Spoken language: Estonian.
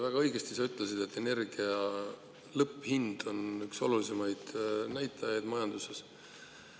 Väga õigesti ütlesid, et energia lõpphind on üks olulisimaid näitajaid majanduses.